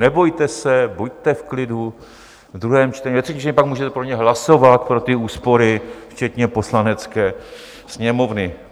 Nebojte se, buďte v klidu, ve druhém čtení, ve třetím čtení pak můžete pro ně hlasovat, pro ty úspory, včetně Poslanecké sněmovny.